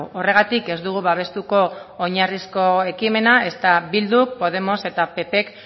horregatik ez dugu babestuko oinarrizko ekimena ezta bildu podemos eta ppk